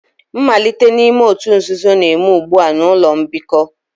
Mmalite n'ime òtù nzuzo na-eme ugbu a na ụlọ mbikọ